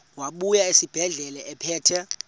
wabuya esibedlela ephethe